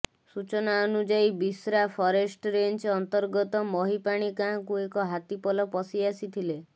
ସୂଚନା ଅନୁଯାୟୀ ବିଶ୍ରା ଫରେଷ୍ଟ ରେଞ୍ଜ୍ ଅନ୍ତର୍ଗତ ମହିପାଣି ଗାଁକୁ ଏକ ହାତୀପଲ ପଶିଆସିଥିଲେ